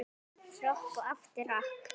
Rokk og aftur rokk.